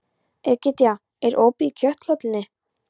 Egedía, er opið í Kjöthöllinni?